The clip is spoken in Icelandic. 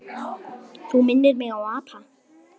Minnir mig á apa.